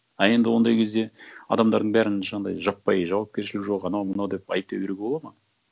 а енді ондай кезде адамдардың бәрін жаңағындай жаппай жауапкершілігі жоқ анау мынау деп айыптай беруге болады ма